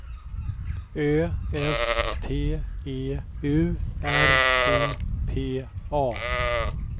Ö S T E U R O P A